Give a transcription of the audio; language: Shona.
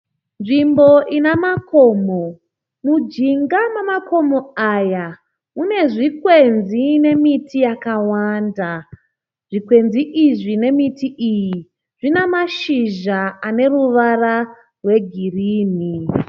Nzvimbo ina makomo. Mujinga memakomo aya mune zvikwenzi nemiti yakawanda. Zvikwenzi izvi nemiti iyi zvina mashizha eneruvara rwe girinhi.